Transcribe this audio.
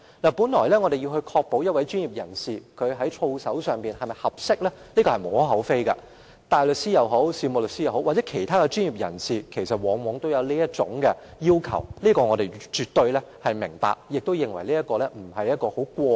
我們要確保一名專業人士在操守方面是否合適是無可厚非的，無論是大律師、事務律師或是其他專業人士亦然，他們往往要面對這種要求，而我們亦絕對明白，也不會認為這是過分的要求。